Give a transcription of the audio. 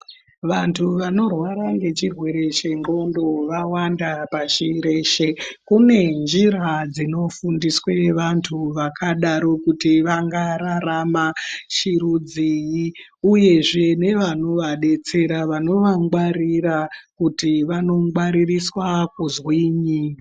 Vantu vanorwara ngechirwere chengqondo vawanda pashi reshe. Kune njira dzinofundiswe vantu vakadaro kuti vangararama chirudzii uyezve nevanovadetsera, vanovangwarira kuti vanongwaririswa kuzwinyi.